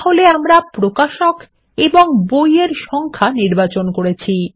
তাহলে আমরা প্রকাশক এবং বই এর সংখ্যা নির্বাচন করেছি